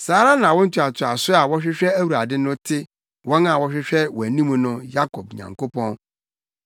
Saa na awo ntoatoaso a wɔhwehwɛ Awurade no te wɔn a wɔhwehwɛ wʼanim no, Yakob Nyankopɔn.